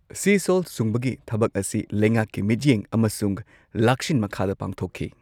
ꯁꯤ ꯁꯣꯜꯠ ꯁꯨꯡꯕꯒꯤ ꯊꯕꯛ ꯑꯁꯤ ꯂꯩꯉꯥꯛꯀꯤ ꯃꯤꯠꯌꯦꯡ ꯑꯃꯁꯨꯡ ꯂꯥꯛꯁꯤꯟ ꯃꯈꯥꯗ ꯄꯥꯡꯊꯣꯛꯈꯤ꯫